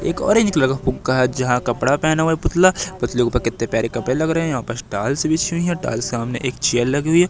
एक orange colour फुग्गा है जहां कपड़ा पहना हुआ पुतला पुतले पर के ऊपर कितने प्यारे कपड़े लग रहे हैं यहां पास टाइल्स भी है बिछी हुई है टाइल्स के सामने एक चेयर लगी हुई हैं।